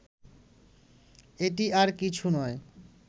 এটি আর কিছু নয়